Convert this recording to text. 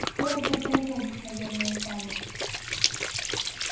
скоро подполковник наверное станет